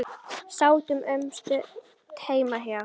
Sátum um stund heima hjá